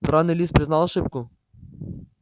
драный лис признал ошибку